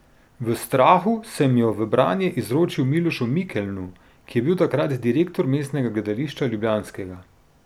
V strahu sem jo v branje izročil Milošu Mikelnu, ki je bil takrat direktor Mestnega gledališča ljubljanskega.